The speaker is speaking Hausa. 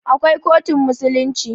Akwai kotun musulunci.